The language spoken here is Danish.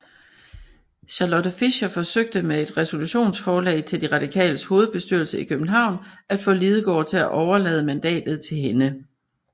Charlotte Fischer forsøgte med et resolutionsforslag til de Radikales hovedbestyrelse i København at få Lidegaard til overlade mandatet til hende